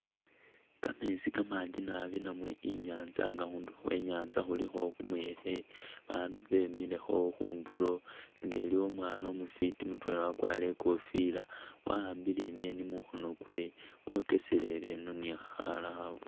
Kameetsi kamanji nabi namwe i'nyaanza nga khundulo khwe nyaanza khulikho kumuyekhe abaandu bemilekho khundulo nga iliwo umwaana umufwiti mutwela wakwarire i'kofila, wa'ambile i'ngeni mukhoono kwe wokeseleleno ni'khakhala khafwiti.